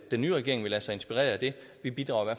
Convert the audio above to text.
den nye regering vil lade sig inspirere af det vi bidrager